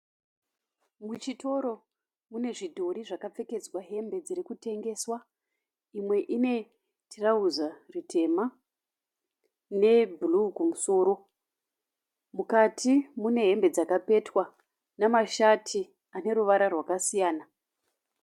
Muchitoro mune zvidhori zvakapfekedzwa hembe dziri kutengeswa. Imwe ine tirauza ritema nebruu kumusoro. Mukati mune hembe dzakapetwa namashati ane ruvara rwakasiyana.